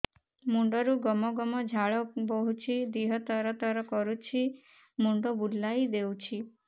ମୁଣ୍ଡରୁ ଗମ ଗମ ଝାଳ ବହୁଛି ଦିହ ତର ତର କରୁଛି ମୁଣ୍ଡ ବୁଲାଇ ଦେଉଛି